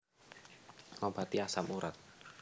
Ngobati asam urat